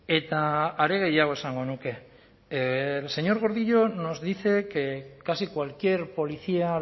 eta are gehiago esango nuke el señor gordillo nos dice que casi cualquier policía a